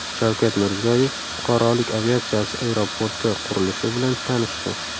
Shavkat Mirziyoyev fuqarolik aviatsiyasi aeroporti qurilishi bilan tanishdi.